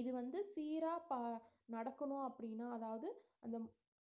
இது வந்து 'சீரா பா~ நடத்தணும் அப்படின்னா அதாவது அந்த